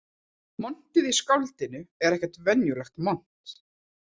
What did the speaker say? Montið í skáldinu er ekkert venjulegt mont